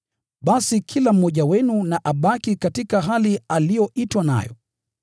Basi kila mmoja wenu na abaki katika hali aliyoitwa nayo.